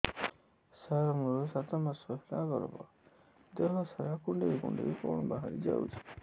ସାର ମୋର ସାତ ମାସ ହେଲା ଗର୍ଭ ଦେହ ସାରା କୁଂଡେଇ କୁଂଡେଇ କଣ ବାହାରି ଯାଉଛି